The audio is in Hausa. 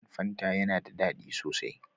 Wannan fanta yana da ɗadi sosai.